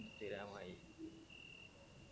ഇൻസ്റ്റഗ്രാമായി